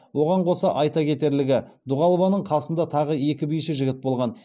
оған қоса айта кетерлігі дұғалованың қасында тағы екі биші жігіт болған